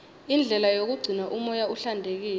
indlela yokugcina umoya uhlantekile